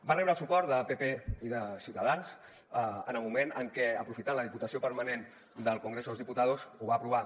va rebre el suport de pp i de ciutadans en el moment en que aprofitant la diputació permanent del congreso de los diputados ho va aprovar